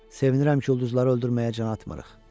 Sevinirəm ki, ulduzları öldürməyə can atmırıq.